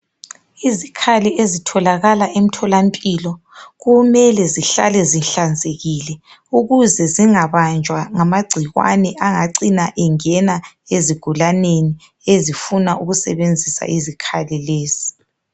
Izikhali ezitholakala emtholampilo kumele zihlale zihlanzekile ukuze zingabanjwa ngamagcikwane angacina engena ezigulaneni ezifuna ukusebenzisa izikhali lezi.